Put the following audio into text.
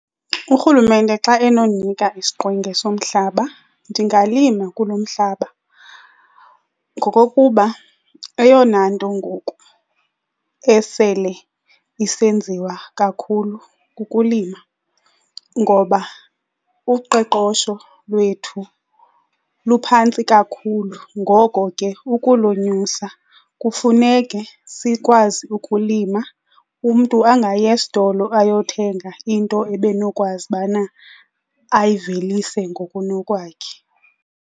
Urhulumente xa enondinika isiqwenga somhlaba ndingalima kuloo mhlaba ngokokuba eyona nto ngoku esele isenziwa kakhulu kukulima ngoba uqoqosho lwethu luphantsi kakhulu. Ngoko ke ukulonyusa kufuneke sikwazi ukulima, umntu angayi esitolo ayothenga into ebenokwazi ubana ayivelise ngokunokwakhe.